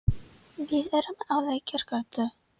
Við erum á Lækjargötu.